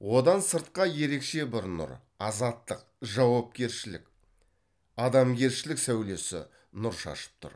одан сыртқа ерекше бір нұр азаттық жауапкершілік адамгершілік сәулесі нұр шашып тұр